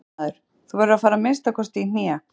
Fréttamaður: Þú verður að fara að minnsta kosti í hné?